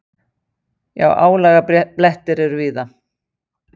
Jú, álagablettir eru víða.